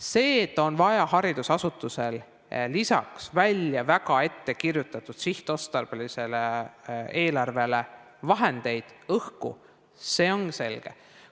See, et haridusasutusel on lisaks ettekirjutatud sihtotstarbelisele eelarvele vaja vahendeid, õhku, see on selge.